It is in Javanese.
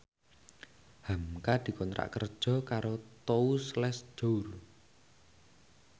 hamka dikontrak kerja karo Tous Les Jour